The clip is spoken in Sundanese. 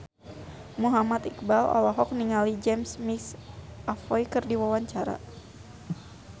Muhammad Iqbal olohok ningali James McAvoy keur diwawancara